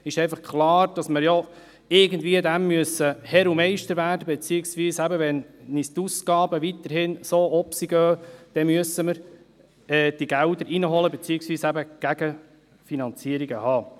Es ist einfach klar, dass wir dem irgendwie Herr und Meister werden müssen, beziehungsweise wenn uns die Ausgaben weiterhin so aufwärts gehen, dann müssen wir die Gelder heranholen beziehungsweise eben Gegenfinanzierungen haben.